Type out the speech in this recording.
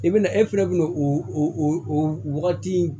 I bɛna e fana bɛ na o wagati